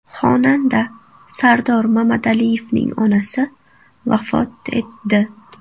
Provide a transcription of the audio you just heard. Xonanda Sardor Mamadaliyevning onasi vafot etdi.